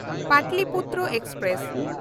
Pataliputra express